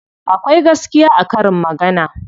Akwai gaskiya a karin magana.